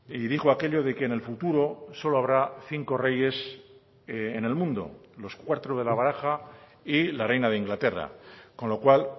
y dijo aquello de que en el futuro solo habrá cinco reyes en el mundo los cuatro de la baraja y la reina de inglaterra con lo cual